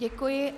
Děkuji.